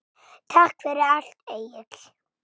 Takk fyrir allt, Egill.